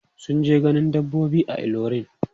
Sun je ganin dabbobi a Ilorin.